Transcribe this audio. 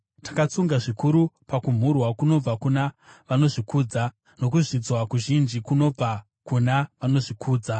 Takatsunga zvikuru pakumhurwa kunobva kuna vanozvikudza, nokuzvidzwa kuzhinji kunobva kuna vanozvikudza.